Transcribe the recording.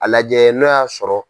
A lajɛ n'o y'a sɔrɔ